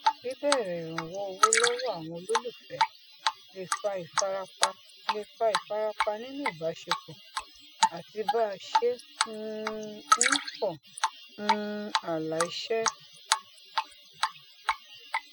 bíbẹrẹ ìrànwọ owó lọwọ àwọn olólùfé le fa ìfarapa le fa ìfarapa nínú ìbáṣepọ àti bá a ṣe um ń fọ um ààlà iṣẹ